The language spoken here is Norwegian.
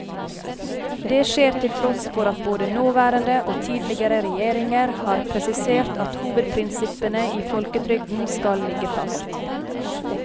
Det skjer til tross for at både nåværende og tidligere regjeringer har presisert at hovedprinsippene i folketrygden skal ligge fast.